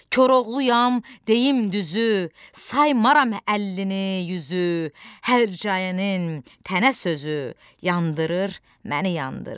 Koroğluyam, deyim düzü, saymaram əlini yüzü, hər cəyənin tənnə sözü yandırır məni, yandırır.